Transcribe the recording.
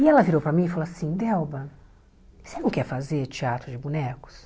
E ela virou para mim e falou assim, Delba, você não quer fazer teatro de bonecos?